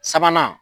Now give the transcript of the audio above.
Sabanan